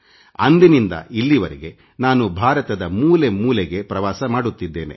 ಅಂದಿನಿಂದ ಇಲ್ಲಿವರೆಗೆ ನಾನು ಭಾರತದ ಮೂಲೆ ಮೂಲೆಗೆ ಪ್ರವಾಸ ಮಾಡುತ್ತಿದ್ದೇನೆ